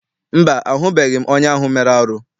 Mba, ahụbeghị m onye ahụ mere arụ.